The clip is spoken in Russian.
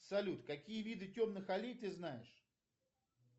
салют какие виды темных аллей ты знаешь